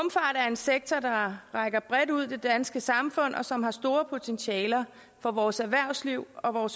er en sektor der rækker bredt ud i det danske samfund og som har store potentialer for vores erhvervsliv og